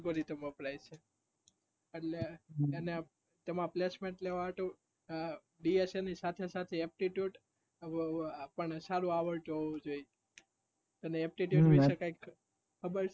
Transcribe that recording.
એટલે તમારે placement લેવા હોય તો dash ની સાથે સાથે aptitude પણ સારું આવડતું હોવું જોયે તને aptitude વિશે કઈ